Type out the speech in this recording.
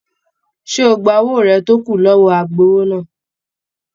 Ṣé o gbà owó rẹ tó kù lọwọ agbowó náà?